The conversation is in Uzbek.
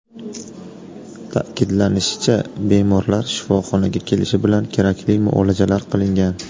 Ta’kidlanishicha, bemorlar shifoxonaga kelishi bilan kerakli muolajalar qilingan.